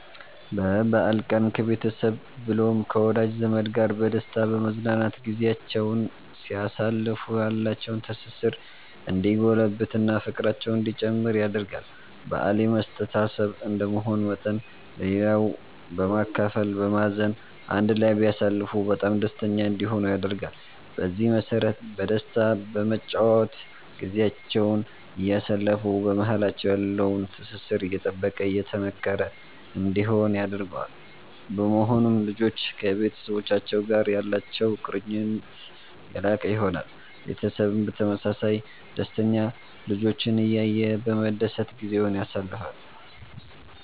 በበአል ቀን ከቤተሰብ ብሎም ከወዳጅ ዘመድ ጋር በደስታ በመዝናናት ጊዚያቸዉን ሲያሳልፉ ያላቸዉ ትስስር እንዲጎለብት እና ፍቅራቸዉ እንዲጨምር ያደርጋል በአል የመተሳሰብ እንደመሆኑ መጠን ለሌላዉ በማካፈል በማዘን አንድ ላይ ቢያሳልፉ በጣም ደስተኛ እንዲሆኑ ያደርጋል። በዚህ መሰረት በደስታ በመጨዋወት ጊዚያቸዉን እያሳለፉ በማሃላቸዉ ያለዉ ትስስር የጠበቀ የጠነከረ እንዲሆን ያደርገዋል። በመሆኑም ልጆች ከቤተሰቡቻቸዉ ጋር ያላቸዉ ቁርኝት የላቀ ይሆናል። ቤተሰብም በተመሳሳይ ደስተኛ ልጆቹን እያየ በመደሰት ጊዜዉን ያሳልፋል